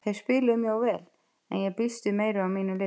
Þeir spiluðu mjög vel en ég býst við meiru af mínu liði.